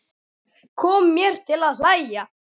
Kom mér til að hlæja.